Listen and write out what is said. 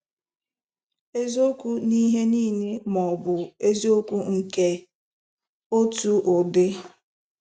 Eziokwu n'ihe nile ma-obụ eziokwu nke otu ụdị?